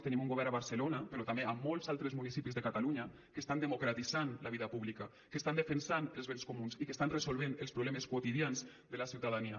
tenim un govern a barcelona però també a molts altres municipis de catalunya que estan democratitzant la vida pública que estan defensant els béns comuns i que estan resolvent els problemes quotidians de la ciutadania